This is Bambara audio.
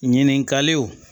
Ɲininkaliw